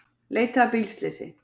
Leita að bílslysi